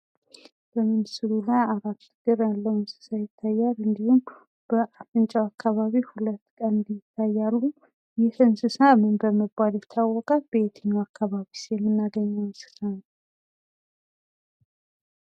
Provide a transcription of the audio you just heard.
በምስሉ ላይ አራት እግር ያለው እንስሳ ይታያል። እንድሁም በአፍንጫው አካባቢ ሁለት ቀንድ ይታያሉ። ይህ እንስሳ ምን በመባል ይታወቃል? በየትኛው አካባቢስ የምናገኘው እንስሳ ነው?